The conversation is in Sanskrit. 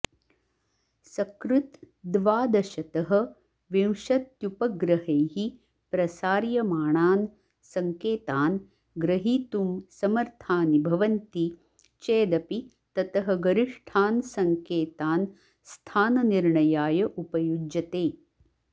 सकृत् द्वादशतः विंशत्युपग्रहैः प्रसार्यमाणान् सङ्केतान् ग्रहीतुं समर्थानि भवन्ति चेदपि ततः गरिष्ठान् सङ्केतान् स्थाननिर्णयाय उपयुञ्जते